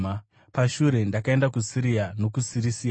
Pashure ndakaenda kuSiria nokuSirisia.